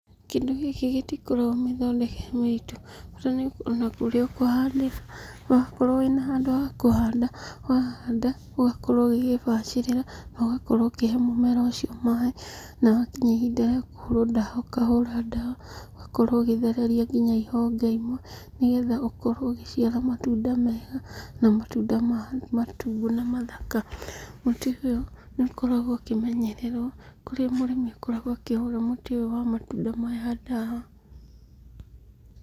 Kĩndũ gĩkĩ gĩtikoragwo mĩthondekere mĩritu, bata nĩũkorwo na kũrĩa ũkũhandĩra, wakorwo wĩna handũ ha kũhanda, wahanda ũgakorwo ũgĩgĩbacĩrĩra, na ũgakorwo ũkĩhe mũmera ũcio maaĩ. Na wakinya ihinda rĩa kũhũrwo ndawa ũkahura dawa, ũgakorwo ũgĩthereria nginya ihonge imwe, nĩgetha ũkorwo ũgĩciara matunda mega, na matunda matune mathaka. Mũtĩ ũyũ nĩũkoragwo ũkĩmenyererwo, kũrĩa mũrĩmi akoragwo akĩhũra mũtĩ ũyũ wa matunda maya ndawa.